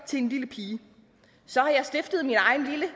til en lille pige så har jeg stiftet min egen lille